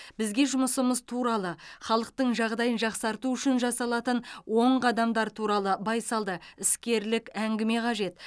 бізге жұмысымыз туралы халықтың жағдайын жақсарту үшін жасалатын оң қадамдар туралы байсалды іскерлік әңгіме қажет